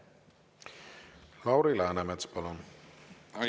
Lauri Läänemets, palun!